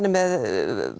er með